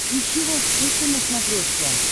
ищи волд фэшен на смотрешке